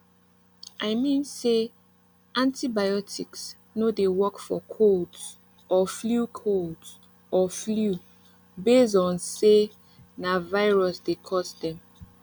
i mean say antibiotics no dey work for colds or flu colds or flu base on say na virus dey cause dem